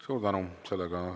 Suur tänu!